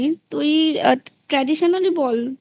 তুই traditional ই বল